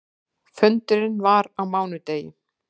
Fundurinn var á mánudegi.